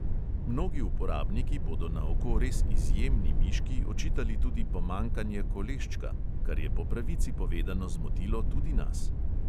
Mnogi uporabniki bodo na oko res izjemni miški očitali tudi pomankanje koleščka, kar je po pravici povedano zmotilo tudi nas.